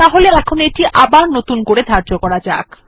তাহলে এখন এটি আবার নতুন করে ধার্য করা যাক